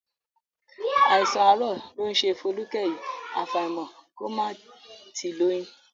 Àìsàn àárọ̀ ló ń ṣe Folúkẹ́ yìí, àfàìmọ̀ kó má ti lóyún